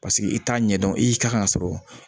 Paseke i t'a ɲɛdɔn i y'i kan ka sɔrɔ